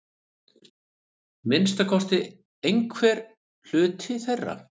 Minnsta kosti einhver hluti þeirra.